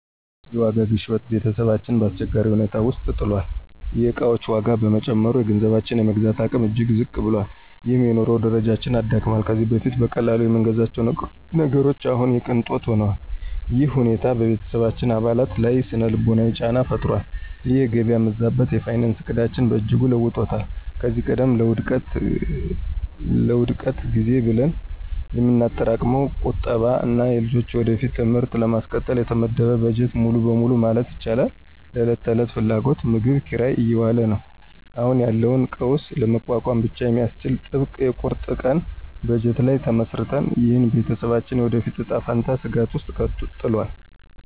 የዋጋ ግሽበት ቤተሰባችንን በአስቸጋሪ ሁኔታ ውስጥ ጥሏል። የዕቃዎች ዋጋ በመጨመሩ፣ የገንዘባችን የመግዛት አቅም እጅግ ዝቅ ብሏል፤ ይህም የኑሮ ደረጃችንን አዳክሟል። ከዚህ በፊት በቀላሉ የምንገዛቸው ነገሮች አሁን የቅንጦት ሆነዋል። ይህ ሁኔታ በቤተሰባችን አባላት ላይ ሥነ-ልቦናዊ ጫና ፈጥሯል። ይህ የገበያ መዛባት የፋይናንስ ዕቅዳችንን በእጅጉ ለውጦታል። ከዚህ ቀደም ለውድቀት ጊዜ ብለን የምናጠራቅመው ቁጠባ እና የልጆቻችንን የወደፊት ትምህርት ለማስቀጠል የተመደበው በጀት ሙሉ በሙሉ ማለት ይቻላል ለዕለት ተዕለት ፍላጎቶች (ምግብ፣ ኪራይ) እየዋለ ነው። አሁን ያለውን ቀውስ ለመቋቋም ብቻ በሚያስችል ጥብቅ የቁርጥ ቀን በጀት ላይ ተመስርተናል። ይህም የቤተሰባችንን የወደፊት እጣ ፈንታ ስጋት ውስጥ ጥሏል።